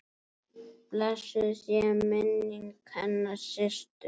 Blessuð sé minning hennar Systu.